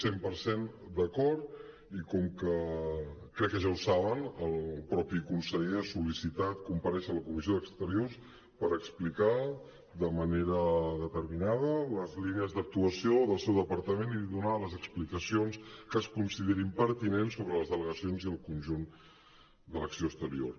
cent per cent d’acord i com que crec que ja ho saben el mateix conseller ha sol·licitat comparèixer a la comissió d’exteriors per explicar de manera determinada les línies d’actuació del seu departament i donar les explicacions que es considerin pertinents sobre les delegacions i el conjunt de l’acció exterior